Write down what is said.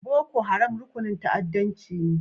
Boko Haram rukunin ta'addancci ne?